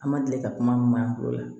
An ma deli ka kuma mɛn an bolo